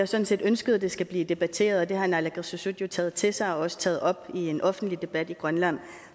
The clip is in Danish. sådan set ønsket at det skal blive debatteret og det har naalakkersuisut taget til sig og også taget op i en offentlig debat i grønland